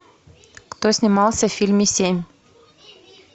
кто снимался в фильме семь